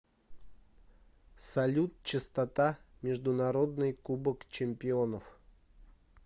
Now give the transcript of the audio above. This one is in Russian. салют частота международный кубок чемпионов